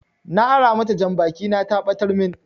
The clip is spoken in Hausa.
Na ara mata janbaki na ta ɓatar min